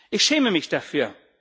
Ich schäme mich dafür.